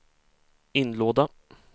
inlåda